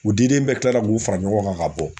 U diden bɛɛ kilala k'u fara ɲɔgɔn kan ka bɔ.